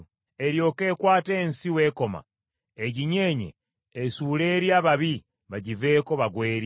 eryoke ekwate ensi w’ekoma eginyeenye esuule eri ababi bagiveeko bagwe eri?